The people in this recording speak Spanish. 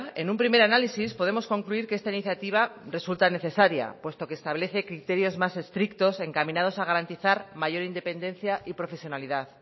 en un primer análisis podemos concluir que esta iniciativa resulta necesaria puesto que establece criterios más estrictos encaminados a garantizar mayor independencia y profesionalidad